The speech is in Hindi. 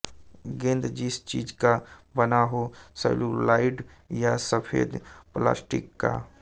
गेंद जिस चीज़ का बना हो सैल्यूलाइड या सफेद प्लास्टिक का